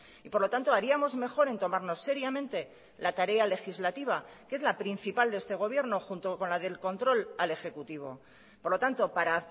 y por lo tanto haríamos mejor en tomarnos seriamente la tarea legislativa que es la principal de este gobierno junto con la del control al ejecutivo por lo tanto para